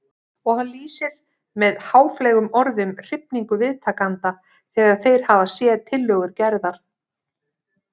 Og hann lýsir með háfleygum orðum hrifningu viðtakenda þegar þeir hafa séð tillögur Gerðar.